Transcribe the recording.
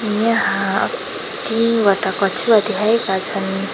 यहाँ तीनवटा कछुवा देखाएका छन्।